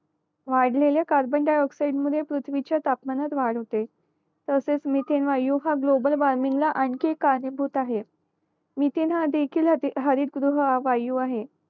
वाढलेले carbon dioxide मध्ये पृथ्वीच्या तापमानात वाढ होते तसेच मिथेन वायू हा ग्लोबल वॉर्मिंगला आणिखीन कारणीभूत आहे मिथेन हा देखींल हत्ती हरित गृह वायू आहे